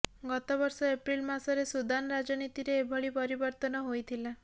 ଗତବର୍ଷ ଏପ୍ରିଲ ମାସରେ ସୁଦାନ ରାଜନୀତିରେ ଏଭଳି ପରିବର୍ତ୍ତନ ହୋଇଥିଲା